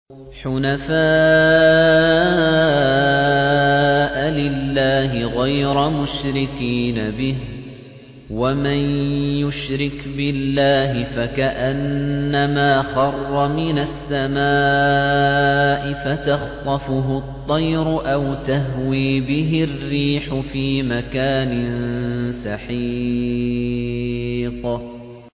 حُنَفَاءَ لِلَّهِ غَيْرَ مُشْرِكِينَ بِهِ ۚ وَمَن يُشْرِكْ بِاللَّهِ فَكَأَنَّمَا خَرَّ مِنَ السَّمَاءِ فَتَخْطَفُهُ الطَّيْرُ أَوْ تَهْوِي بِهِ الرِّيحُ فِي مَكَانٍ سَحِيقٍ